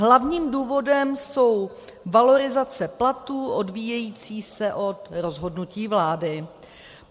Hlavním důvodem jsou valorizace platů odvíjející se od rozhodnutí vlády.